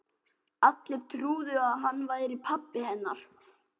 Allir trúðu að hann væri pabbi hennar.